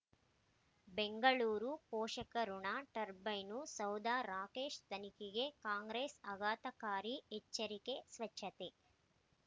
ಬೆಂಗಳೂರು ಪೋಷಕಋಣ ಟರ್ಬೈನು ಸೌಧ ರಾಕೇಶ್ ತನಿಖೆಗೆ ಕಾಂಗ್ರೆಸ್ ಆಘಾತಕಾರಿ ಎಚ್ಚರಿಕೆ ಸ್ವಚ್ಛತೆ